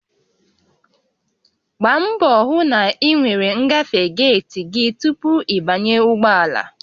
Gbaa mbọ hụ na ị nwere ngafe geeti gị tupu ị banye ụgbọ ala